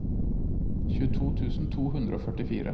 tjueto tusen to hundre og førtifire